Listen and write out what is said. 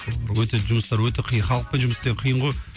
өте жұмыстары өте қиын халықпен жұмыс істеу қиын ғой